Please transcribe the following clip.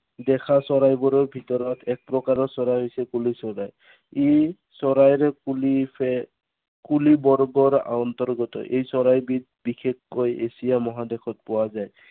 দেখা চৰাইবোৰৰ ভিতৰত এক প্ৰকাৰৰ চৰাই হৈছে কুলি চৰাই। ই চৰাইৰ কুলি কুলি বৰ্গৰ অন্তৰ্গত। এই চৰাইবিধ বিশেষকৈ এচিয়া মহাদেশত পোৱা যায়।